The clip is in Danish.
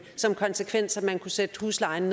som konsekvens at man kunne sætte huslejen